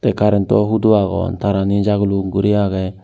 eh currento hudo agon tarani jaguluk guri agey.